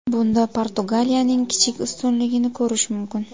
Bunda Portugaliyaning kichik ustunligini ko‘rish mumkin.